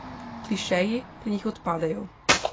Klišeji pri njih odpadejo.